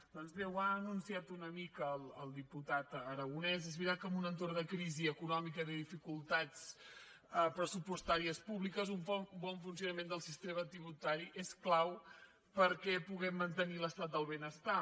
doncs bé ho ha anunciat una mica el diputat arago·nès és veritat que en un entorn de crisi econòmica i de dificultats pressupostàries públiques un bon funci·onament del sistema tributari és clau perquè puguem mantenir l’estat del benestar